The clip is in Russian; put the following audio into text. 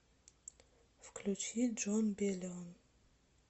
включи джон белион